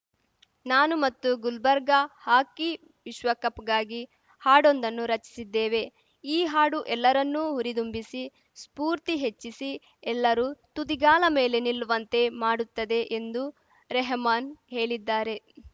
ನಾನು ಮತ್ತು ಗುಲ್ಬರ್ಗಾ ಹಾಕಿ ವಿಶ್ವಕಪ್‌ಗಾಗಿ ಹಾಡೊಂದನ್ನು ರಚಿಸಿದ್ದೇವೆ ಈ ಹಾಡು ಎಲ್ಲರನ್ನೂ ಹುರಿದುಂಬಿಸಿ ಸ್ಫೂರ್ತಿ ಹೆಚ್ಚಿಸಿ ಎಲ್ಲರೂ ತುದಿಗಾಲ ಮೇಲೆ ನಿಲ್ಲುವಂತೆ ಮಾಡುತ್ತದೆ ಎಂದು ರೆಹಮಾನ್‌ ಹೇಳಿದ್ದಾರೆ